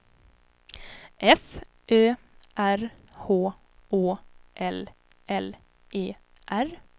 F Ö R H Å L L E R